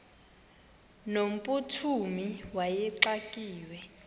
no mphuthumi wayexakiwe